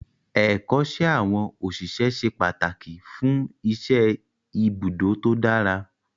Ẹ̀kọ́ṣẹ́ àwọn òṣìṣẹ́ ṣe pàtàkì fún iṣẹ́ ibùdó tó dára